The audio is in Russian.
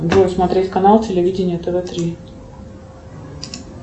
джой смотреть канал телевидения тв три